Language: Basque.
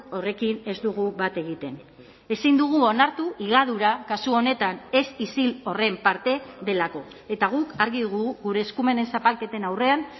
horrekin ez dugu bat egiten ezin dugu onartu higadura kasu honetan ez isil horren parte delako eta guk argi dugu gure eskumenen zapalketen aurrean